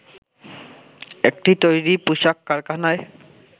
একটি তৈরি পোশাক কারখানায়